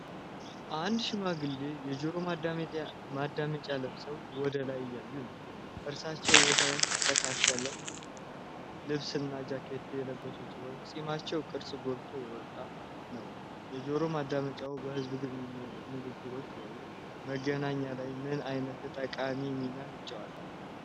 አንድ ሽማግሌ የጆሮ ማዳመጫ ለብሰው ወደ ላይ እያዩ ነው። እርሳቸው የተስተካከለ ልብስና ጃኬት የለበሱ ሲሆን፣ የፂማቸው ቅርፅ ጎልቶ የወጣ ነው። የጆሮ ማዳመጫው በሕዝብ ንግግሮች ወይም በመዝናኛ ላይ ምን ዓይነት ጠቃሚ ሚና ይጫወታል?